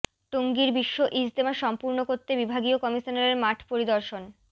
টঙ্গীর বিশ্ব ইজতেমা সম্পূর্ণ করতে বিভাগীয় কমিশনারের মাঠ পরিদর্শন